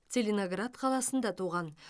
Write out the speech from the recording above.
целиноград қаласында туған